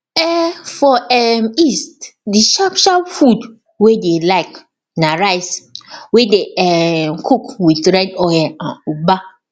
um for um east d sharp sharp food wey dey like na rice wey dey um cook with red oil and ugba